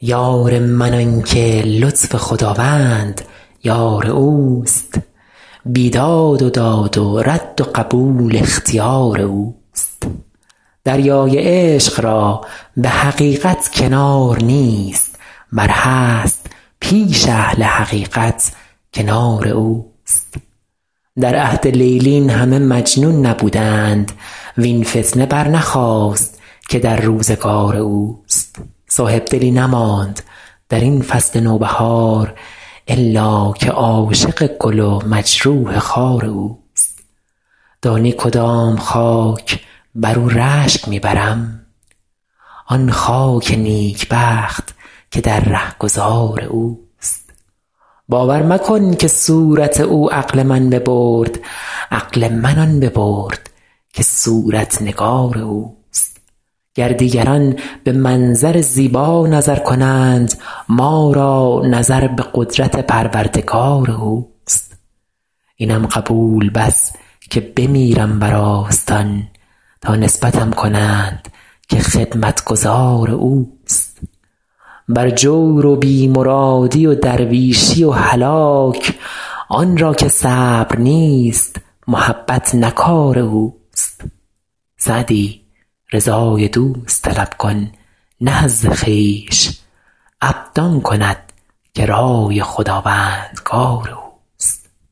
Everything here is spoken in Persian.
یار من آن که لطف خداوند یار اوست بیداد و داد و رد و قبول اختیار اوست دریای عشق را به حقیقت کنار نیست ور هست پیش اهل حقیقت کنار اوست در عهد لیلی این همه مجنون نبوده اند وین فتنه برنخاست که در روزگار اوست صاحبدلی نماند در این فصل نوبهار الا که عاشق گل و مجروح خار اوست دانی کدام خاک بر او رشک می برم آن خاک نیکبخت که در رهگذار اوست باور مکن که صورت او عقل من ببرد عقل من آن ببرد که صورت نگار اوست گر دیگران به منظر زیبا نظر کنند ما را نظر به قدرت پروردگار اوست اینم قبول بس که بمیرم بر آستان تا نسبتم کنند که خدمتگزار اوست بر جور و بی مرادی و درویشی و هلاک آن را که صبر نیست محبت نه کار اوست سعدی رضای دوست طلب کن نه حظ خویش عبد آن کند که رای خداوندگار اوست